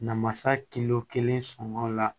Namasa kelen sɔngɔ la